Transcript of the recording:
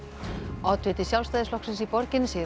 oddviti Sjálfstæðisflokksins í borginni segir